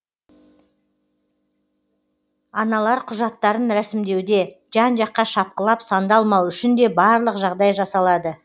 аналар құжаттарын рәсімдеуде жан жаққа шапқылап сандалмау үшін де барлық жағдай жасалады